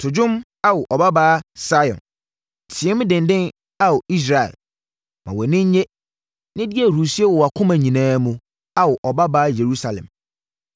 To dwom Ao, Ɔbabaa Sion; team denden Ao, Israel! Ma wʼani nnye, na di ahurisie wɔ wʼakoma nyinaa mu, Ao, Ɔbabaa Yerusalem!